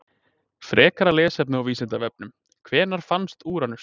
Frekara lesefni á Vísindavefnum: Hvenær fannst Úranus?